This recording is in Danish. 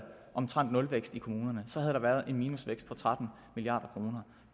omtrent nulvækst i kommunerne så havde der været en minusvækst på tretten milliard kroner